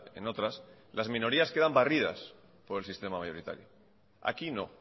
en otras las minorías quedan barridas por el sistema mayoritario aquí no